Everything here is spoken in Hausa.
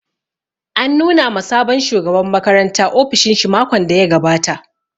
An nuna ma sabon shugaban makaranta ofishin shi makon da ya gabata